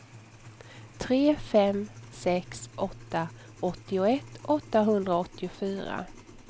tre fem sex åtta åttioett åttahundraåttiofyra